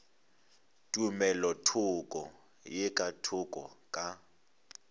tumelothoko ye ka thoko ka